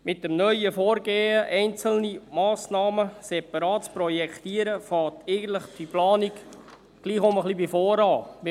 Mit dem neuen Vorgehen, einzelne Massnahmen separat zu projektieren, beginnt diese Planung eigentlich doch ein bisschen von vorne.